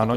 Ano.